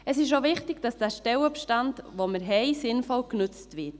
Es ist auch wichtig, dass der Stellenbestand, den wir haben, sinnvoll genutzt wird.